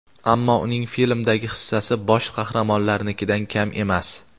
Ammo uning filmdagi hissasi bosh qahramonlarnikidan kam emas.